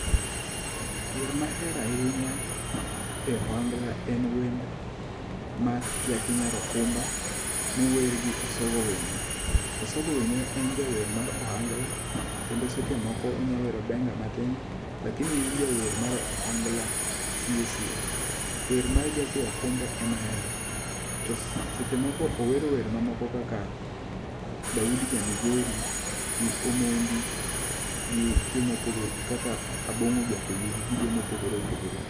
Wer mahero ahinya e ohangla en wend mar Jaki Nyar Okumba mower gi Osogo Winyo. Osogo Winyo en jawer mar ohangla kendo seche moko onyalo wero benga matin. Lakini en jawer mar ohangla sie sie. Wer mar Jaki Okumba e ma ahero. To seche moko owero wer ma moko kaka Daudi ja Migori gi Omondi gi jomopogore kaka Abong'o Jakoyugi gi jomopogore opogore.